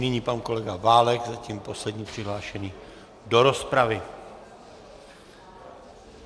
Nyní pan kolega Válek, zatím poslední přihlášený do rozpravy.